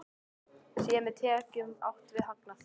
Sé með tekjum átt við hagnað?